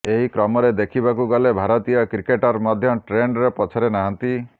ଏହି କ୍ରମରେ ଦେଖିବାକୁ ଗଲେ ଭାରତୀୟ କ୍ରିକେଟର ମଧ୍ୟ ଟ୍ରେଣ୍ଡରେ ପଛରେ ନାହାନ୍ତି